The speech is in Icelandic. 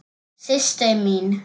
Systir mín.